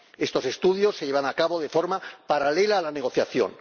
Estos estudios se llevan a cabo de forma paralela a la negociación.